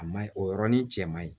A man ɲi o yɔrɔnin cɛ man ɲi